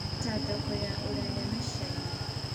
Ta thoko ya rũraya na Caina